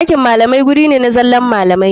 Ɗakin malamai guri ne na zallan malamai.